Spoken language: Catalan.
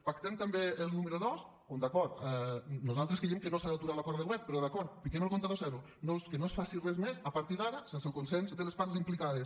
pactem també el número dos on d’acord nosaltres creiem que no s’ha d’aturar l’acord de govern però d’acord fiquem el comptador a zero que no es faci res més a partir d’ara sense el consens de les parts implicades